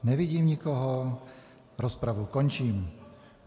Nevidím nikoho, rozpravu končím.